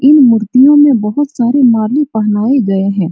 इन मूर्तियों में बहुत सारे माले पहनाये गए हैं।